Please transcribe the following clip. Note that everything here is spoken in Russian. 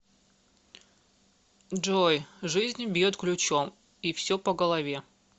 джой жизнь бьет ключом и все по голове